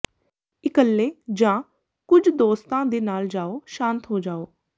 ਇਕੱਲੇ ਜਾਂ ਕੁਝ ਦੋਸਤਾਂ ਦੇ ਨਾਲ ਜਾਓ ਸ਼ਾਂਤ ਹੋ ਜਾਓ